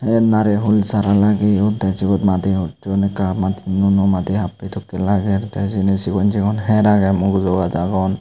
tay narehul sara lageyon tay jiyot madi hucchon ekka nuo nuo madi happey dokkey lager tey siyeni sigon sigon hyer agey mugujo gaaj agon.